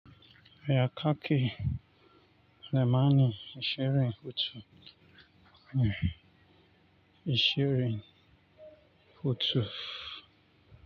Ya kake, nemani ashirin hutu, eh, ashirin hutu.